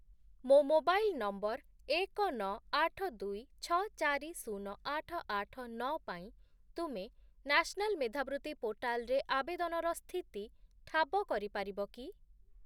ମୋ mobile number ଏକ, ନଅ, ଆଠ, ଦୁଇ, ଛଅ, ଚାରି, ଶୂନ, ଆଠ, ଆଠ, ନଅ ପାଇଁ ତୁମେ ନ୍ୟାସ୍‌ନାଲ୍ ମେଧାବୃତ୍ତି ପୋର୍ଟାଲ୍‌ରେ ଆବେଦନର ସ୍ଥିତି ଠାବ କରିପାରିବ କି?